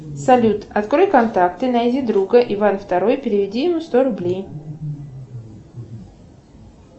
салют открой контакты найди друга иван второй переведи ему сто рублей